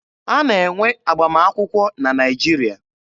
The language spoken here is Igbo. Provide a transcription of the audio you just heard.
A na-enwe agbamakwụkwọ na Naịjirịa.